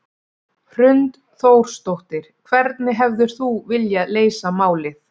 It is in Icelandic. Hrund Þórsdóttir: Hvernig hefðir þú viljað leysa málið?